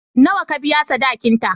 Nawa ka biya sadakinta?